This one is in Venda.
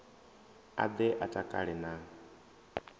a ḓe a takale na